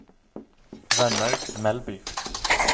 Rønnaug Melby